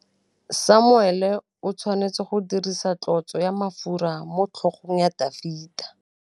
Samuele o tshwanetse go dirisa tlotsô ya mafura motlhôgong ya Dafita.